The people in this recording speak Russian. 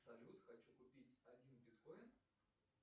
салют хочу купить один биткоин